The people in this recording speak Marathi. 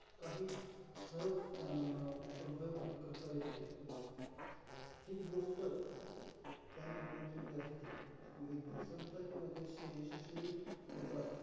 काही सहज अं प्रबळपणे करता येते. ही गोष्ट त्यांनी ओळखलेली असते. म्हणजे, ती संस्था किंवा देश हे यशस्वी होतात.